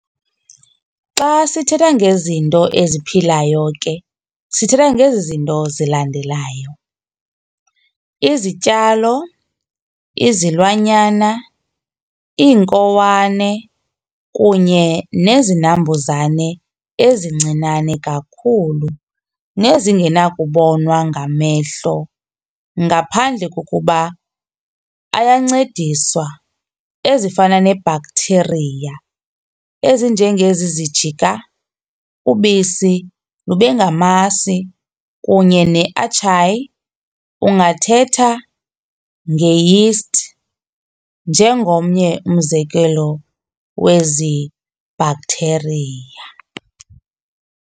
Xa sithetha ngezinto eziphilayo ke sithetha ngezi zinto zilandelayo- izityalo, izilwanyana, iinkowane kunye nezinambuzane ezincinane kakhulu nezingenakubonwa ngamehlo ngaphandle kokuba ayancediswa ezifana, ne-bacteria ezinje ngezi zijika ubisi lube ngamasi kunye ne-archaea ungathetha nge-yeast njengomnye umzekelo wezi bacteria.